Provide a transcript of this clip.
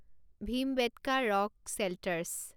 Bhimbetka rock shelters